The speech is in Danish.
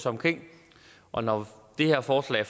omkring og når det her forslag